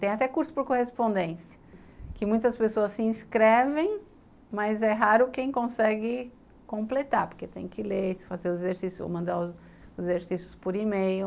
Tem até curso por correspondência, que muitas pessoas se inscrevem, mas é raro quem consegue completar, porque tem que ler, mandar os exercícios por e-mail.